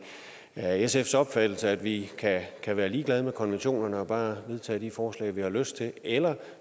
er sfs opfattelse at vi kan kan være ligeglade med konventionerne og bare vedtage de forslag vi har lyst til eller